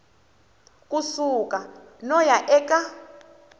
ku suka no ya eka